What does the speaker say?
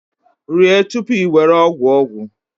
Rie tupu i were ogwu ogwu